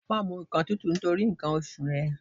Má mu nǹkan tútù nítorí nǹkan oṣù rẹ.